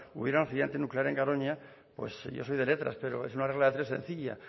hubiera un accidente nuclear en garoña pues yo soy de letras pero es una regla de tres sencilla